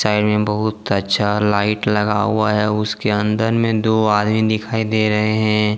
ताइ में बहुत अच्छा लाइट लगा हुआ है उसके अंदर में दो आदमी दिखाई दे रहे है।